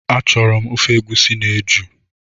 Achọrọ m ofe egusi na eju